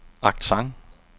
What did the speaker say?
accent